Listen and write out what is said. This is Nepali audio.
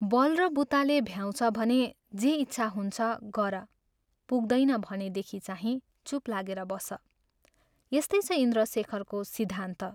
बल र बुताले भ्याउँछ भने जे इच्छा हुन्छ, गर, पुग्दैन भनेदखि चाहिँ चूप लागि बस " यस्तै छ इन्द्रशेखरको सिद्धान्त।